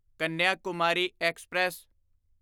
Kanyakumari express